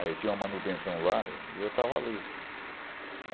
Aí tinha uma manutenção lá e eu estava ali.